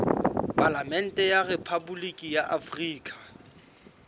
palamente ya rephaboliki ya afrika